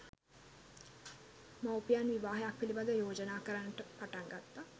මවුපියන් විවාහයක් පිළිබඳ යෝජනා කරන්නට පටන් ගත්තා